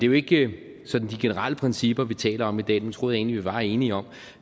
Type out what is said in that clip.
jo ikke sådan de generelle principper vi taler om i dag dem troede jeg egentlig vi var enige om